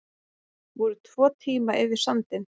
Voru tvo tíma yfir sandinn